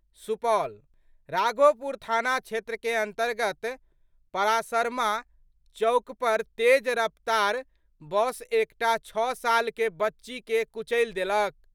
सुपौल : राघोपुर थाना क्षेत्र के अंतर्गत परासरमा चौक पर तेज रफ्तार बस एकटा 6 साल के बच्ची के कुचलि देलक।